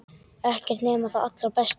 Ekkert nema það allra besta.